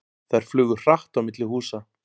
Þær flugu hratt á milli húsa.